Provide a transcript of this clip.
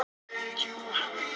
Hún hlýtur að hafa húshjálp.